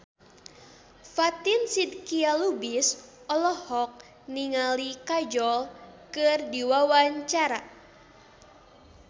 Fatin Shidqia Lubis olohok ningali Kajol keur diwawancara